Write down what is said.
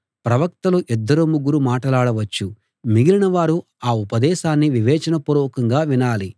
ప్రవక్తలు ఇద్దరు ముగ్గురు మాటలాడవచ్చు మిగిలినవారు ఆ ఉపదేశాన్ని వివేచనాపూర్వకంగా వినాలి